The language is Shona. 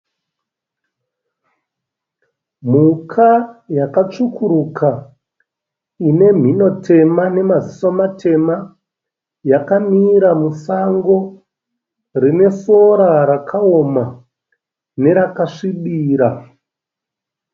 Mhuka yatsvukuruka ine mhino tema nemaziso matema yakamira musango rine sora rakaoma nerakasvibira.